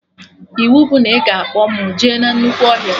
Iwu bụ na ị ga-akpọ mụ jee na nnukwu ọhịa